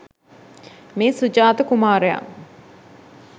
මේ සුජාත කුමාරයා